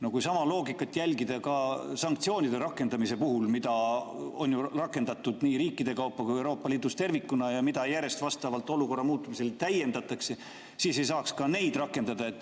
No kui sama loogikat järgida ka sanktsioonide rakendamise puhul, mida on ju rakendatud nii riikide kaupa kui ka Euroopa Liidus tervikuna ja mida järjest vastavalt olukorra muutumisele täiendatakse, siis ei saaks ka neid rakendada.